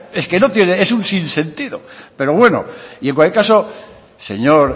es que es un sinsentido pero bueno y en cualquier caso señor